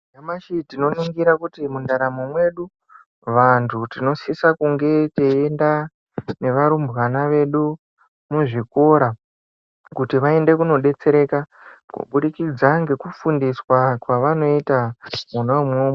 Nyamashi tinoningira kuti mundaramo mwedu vantu tinosise kunge teienda nevarumbwana vedu muzvikora kuti vende kunodetsereka kubudikidza nekufunda kwavanoita mwona umwomwo.